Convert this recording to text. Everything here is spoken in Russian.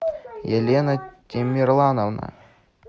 елена тимерлановна